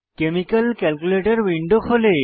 chemical calculator window খোলে